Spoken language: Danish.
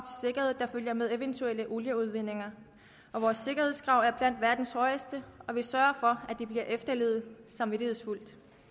sikkerhed der følger med eventuelle olieudvindinger vores sikkerhedskrav er blandt verdens højeste og vi sørger for at de bliver efterlevet samvittighedsfuldt